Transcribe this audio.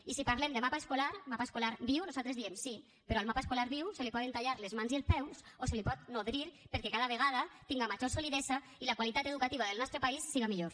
i si parlem de mapa escolar mapa escolar viu nosaltres diem sí però al mapa escolar viu se li poden tallar les mans i els peus o se’l pot nodrir perquè cada vegada tinga major solidesa i la qualitat educativa del nostre país siga millor